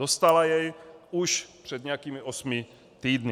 Dostala jej už před nějakými osmi týdny.